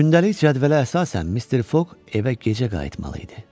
Gündəlik cədvələ əsasən Mister Foq evə gecə qayıtmalı idi.